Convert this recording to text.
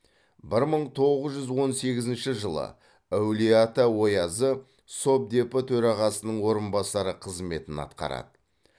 бір мың тоғыз жүз он сегізінші жылы әулиеата оязы совдепі төрағасының орынбасары қызметін атқарады